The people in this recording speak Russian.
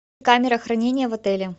камера хранения в отеле